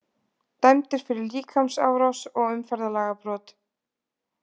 Dæmdur fyrir líkamsárás og umferðarlagabrot